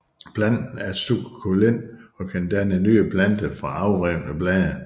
Planten er sukkulent og kan danne nye planter fra afrevne blade